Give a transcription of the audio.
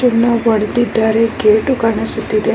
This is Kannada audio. ಇಲ್ಲಿ ನಾನು ನೋಡುತಿರುವ ಒಂದು ಹೊಟೇಲ್ ಅಲ್ಲಿ ಎಲ್ಲಾ --